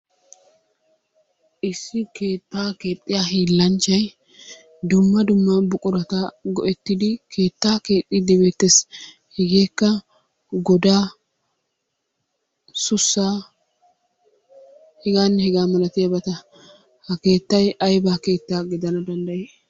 Issi keetta keexxiya hiilanchchay dumma dumma buqurata go"ettidi keettaa keexxidi beettees. Hegekka godaa ,sussaa heganne hegaa malatiyabata. Ha keettay aybba keetta gidanawu dandday?